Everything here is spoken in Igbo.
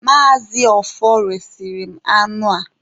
Maazị Ọfọr resịrị m anụ a.